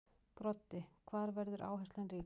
Broddi: Hvar verður áherslan ríkust?